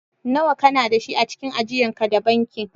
Nawa kana da shi a cikin ajian ka da bankin?